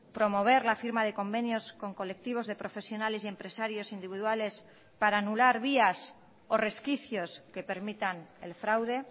promover la firma de convenios con colectivos de profesionales y empresarios individuales para anular vías o resquicios que permitan el fraude